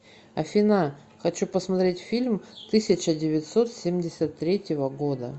афина хочу посмотреть фильм тысяча девятьсот семьдесят третьего года